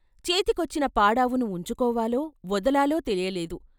చేతికొచ్చిన పాడావును వుంచుకోవాలో, వదలాలో తెలియలేదు.